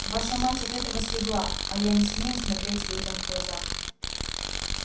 ваша мать от этого слегла а я не смею смотреть людям в глаза